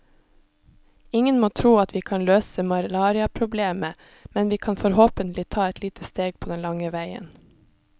Ingen må tro at vi kan løse malariaproblemet, men vi kan forhåpentlig ta et lite steg på den lange veien.